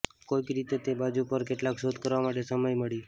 કોઈક રીતે તે બાજુ પર કેટલાક શોધ કરવા માટે સમય મળી